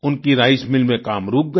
उनकी rice mill में काम रुक गया